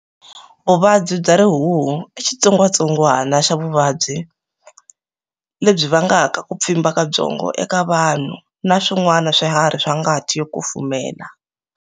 Vuvabyi bya Rihuhu i xitsongwatsongwana xa vuvabyi lebyi vangaka ku pfimba ka byongo eka vanhu na swin'wana swiharhi swa ngati yo kufumela.